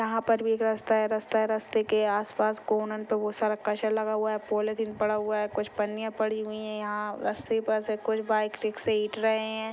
यहाँ पर भी एक रस्ता हैं रस्ता हैं। रस्ते के आसपास कोने पे बहुत सारा कचरा लगा हुआ हैं। पॉलीथिन पड़ा हुआ हैं कुछ पन्निया पड़ी हुई हैं यहाँ रस्ते पर से कुछ बाइक रिक्शे रहैं हैं।